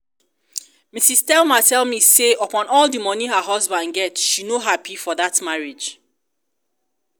mrs. thelma tell me say upon all the money her husband get she no happy for dat marriage